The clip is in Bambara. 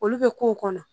Olu bɛ k'o kɔnɔ